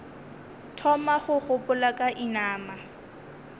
thoma go gopola ka inama